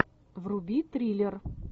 вруби триллер